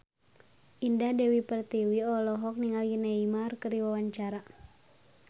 Indah Dewi Pertiwi olohok ningali Neymar keur diwawancara